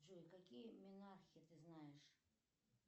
джой какие минархи ты знаешь